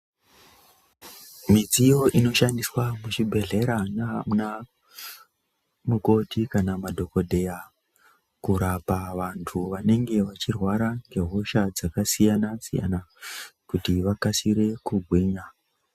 Midziyo inoshandiswa nanamukoti kana madhokodheya kurapa vantu vanenge vachirwara ngehosha dzakasiyana siyana kuti vakasire kugwinya.